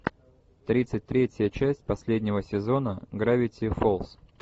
тридцать третья часть последнего сезона гравити фолз